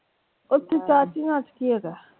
ਓਥੇ ਚਾਰ ਚਿਨਾਰ ਚ ਕੀ ਹੈਗਾ ਆ?